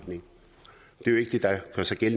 ellers er